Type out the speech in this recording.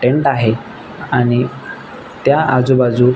tent आहे आणि त्या आजु बाजुक--